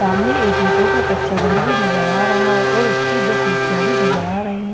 सामने एक ईंटों का कच्चा घर भी नजर आ रहा है और उसकी दो खिड़कियां भी नजर आ रही है ।